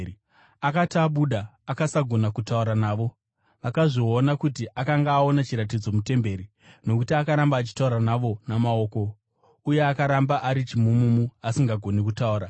Akati abuda, akasagona kutaura navo. Vakazviona kuti akanga aona chiratidzo mutemberi, nokuti akaramba achitaura navo namaoko, uye akaramba ari chimumumu asingagoni kutaura.